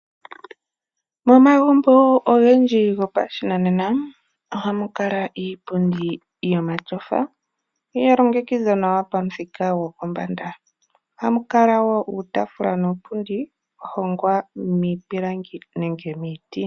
Momagumbo ogendji gopashinanena ohamu kala iipundi yomatyofa, yalongekidhwa nawa pamuthika gopombanda . Ohamu kala wo uutaafula nuupundi wahongwa miipilangi nenge miiti.